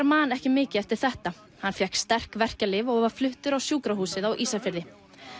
man ekki mikið eftir þetta hann fékk sterk verkjalyf og var fluttur á sjúkrahúsið á Ísafirði